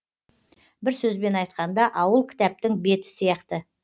бір сөзбен айтқанда ауыл кітаптың беті сияқты